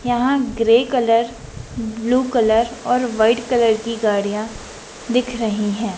यहाँ grey colour blue colour और white colour की गाड़ियाँ दिख रहीं हैं।